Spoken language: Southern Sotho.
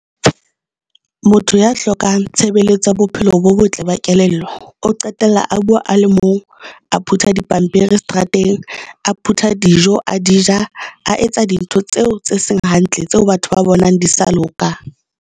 Motho ya hlokang tshebeletso ya bophelo bo botle ba kelello, o qetella a bua a le mong, a phutha dipampiri seterateng, a phutha a dijo a di ja, a etsa dintho tseo tse seng hantle tseo batho ba bonang di sa loka.